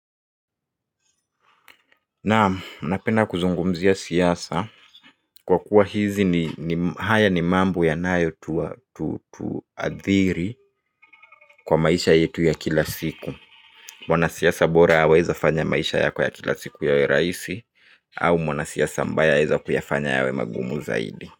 Naam napenda kuzungumzia siasa kwa kuwa haya ni mambo yanayotuadhiri kila siku. Mwana siasa bora aweza fanya maisha yako ya kila siku yawe rahisi au mwanasiasa mbaya aweza kuyafanya yawe magumu zaidi.